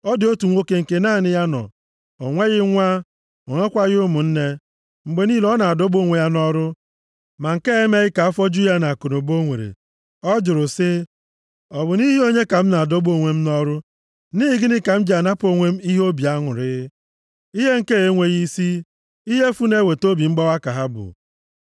Ọ dị otu nwoke nke naanị ya nọ, o nweghị nwa, o nwekwaghị ụmụnne. Mgbe niile, ọ na-adọgbu onwe ya nʼọrụ, ma nke a emeghị ka afọ ju ya nʼakụnụba o nwere. Ọ jụrụ sị, “Ọ bụ nʼihi onye ka m ji adọgbu onwe m nʼọrụ,” “nʼihi gịnị ka m ji anapụ onwe m ihe obi aṅụrị?” Ihe nke a enweghị isi, ihe efu na-eweta obi mgbawa ka ha bụ.